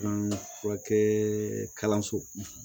furakɛ kalanso